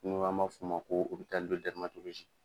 Ni an ma fo ma ko opitali de dɛrimatolozi